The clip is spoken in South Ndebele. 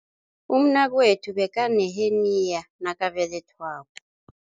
Umnakwethu bekaneheniya nakabelethwako.